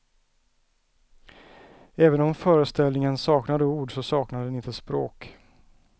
Även om föreställningen saknar ord så saknar den inte språk.